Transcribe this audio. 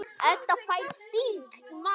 Edda fær sting í magann.